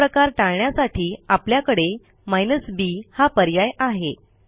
असा प्रकार टाळण्यासाठी आपल्याकडे b हा पर्याय आहे